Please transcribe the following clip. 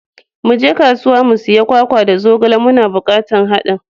Muje kasuwa mu sayi kwakwa da zogale, muna bukatar hadin.